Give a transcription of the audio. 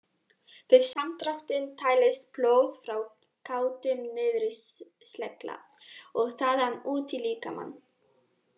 Við samdráttinn dælist blóð frá gáttum niður í slegla og þaðan út í líkamann.